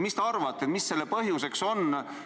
Mis te arvate, mis selle põhjus on?